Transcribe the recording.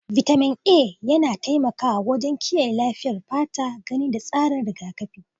Vitamin A yana taimakawa wajen kiyaye lafiyar fata, gani, da tsarin rigakafi.